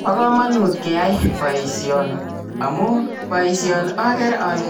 Bo kamanut keyai boisioni amuun boisioni agere ale